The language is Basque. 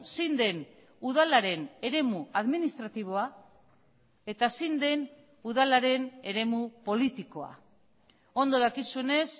zein den udalaren eremu administratiboa eta zein den udalaren eremu politikoa ondo dakizunez